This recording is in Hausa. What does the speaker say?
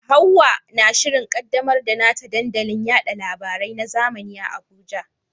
Hawwa na shirin kaddamar da nata dandalin yada labarai na zamani a Abuja.